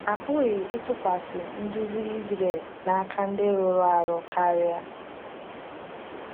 A pụghị ịtụkwasị nduzi Izrel n’aka ndị rụrụ arụ karịa.